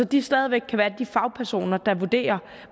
de stadig væk være de fagpersoner der vurderer